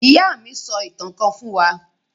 Ìyá mi sọ ìtàn kan fún wa.